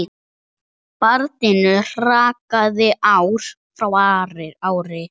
Barninu hrakaði ár frá ári.